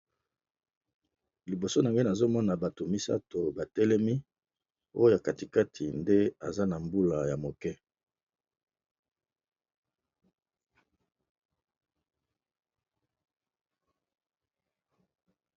liboso na ngane azomona bato misato batelemi oyo katikati nde aza na mbula ya moke